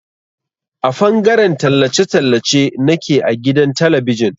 A fangaren tallace tallace nake a gidan talabijin.